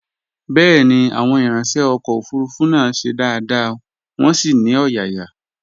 Bẹ́ẹ̀ni, Àwọn ìranṣẹ́ ọkọ̀ òfurufú náà ṣe dáadáa, wọn sì ní ọ̀yàyà